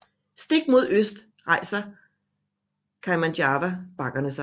Stik mod øst rejser Kaimanawa bakkerne sig